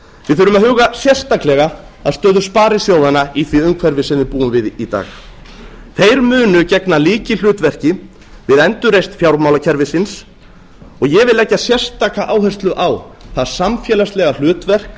við þurfum að huga sérstaklega að stöðu sparisjóðanna í því umhverfi sem við búum við í dag þeir munu gegna lykilhlutverki við endurreisn fjármálakerfisins og ég vil leggja sérstaka áherslu á það samfélagslega hlutverk